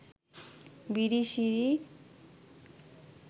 Birishiri